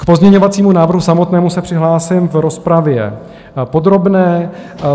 K pozměňovacímu návrhu samotnému se přihlásím v rozpravě podrobné.